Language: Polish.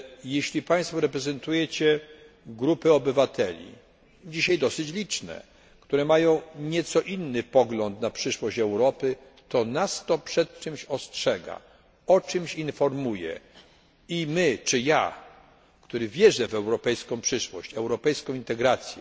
Jeśli państwo reprezentujecie grupy obywateli, dzisiaj dosyć liczne, które mają nieco inny pogląd na przyszłość Europy, to nas to przed czymś ostrzega, o czymś informuje i my, czy ja, który wierzę w europejską przyszłość, europejską integrację,